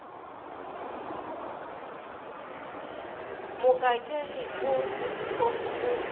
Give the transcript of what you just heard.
mokakege o se sefofu o